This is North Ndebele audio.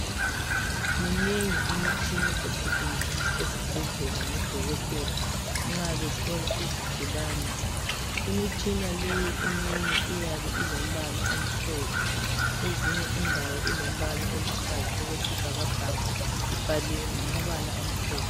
Minengi imitshina esetshenziswa esibhedlela ngodokotela nxa behlola izigulane . Imitshina leyi eminye iyabe ilombala omhlophe kwezinye indawo ilombala oluhlaza okwesibhakabhaka ibhaliwe ngamabala amhlophe.